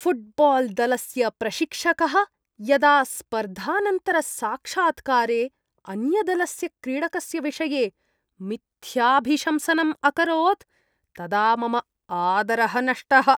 फ़ुट्बाल्दलस्य प्रशिक्षकः यदा स्पर्धानन्तरसाक्षात्कारे अन्यदलस्य क्रीडकस्य विषये मिथ्याभिशंसनम् अकरोत् तदा मम आदरः नष्टः।